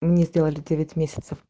мне сделали